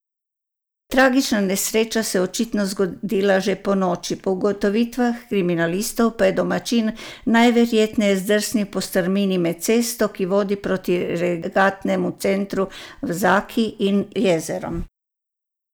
Tragična nesreča se je očitno zgodila že ponoči, po ugotovitvah kriminalistov pa je domačin najverjetneje zdrsnil po strmini med cesto, ki vodi proti regatnemu centru v Zaki, in jezerom.